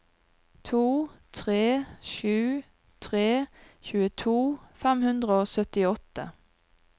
to tre sju tre tjueto fem hundre og syttiåtte